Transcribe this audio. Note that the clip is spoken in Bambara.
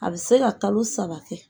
A bɛ se ka kalo saba kɛ